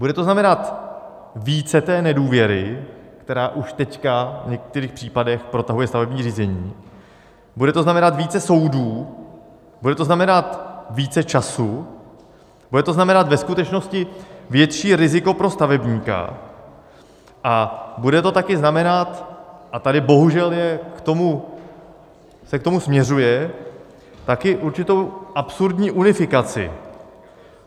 Bude to znamenat více té nedůvěry, která už teď v některých případech protahuje stavební řízení, bude to znamenat více soudů, bude to znamenat více času, bude to znamenat ve skutečnosti větší riziko pro stavebníka a bude to také znamenat, a tady bohužel se k tomu směřuje, také určitou absurdní unifikaci.